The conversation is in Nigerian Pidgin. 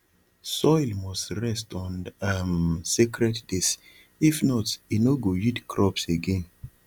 soil must rest on um sacred days if not e no go yield crops again